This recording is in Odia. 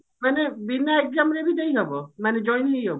ମାନେ ବିନା exam ରେ ବି ଦେଇହବ ମାନେ join ହେଇହବ